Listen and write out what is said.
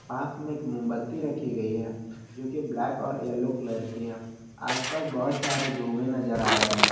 पास में एक मोमबत्ती रखी गई है जोकि ब्लैक और येलो कलर की है आसपास बहुत सारे धुएं नजर आ रहे हैं।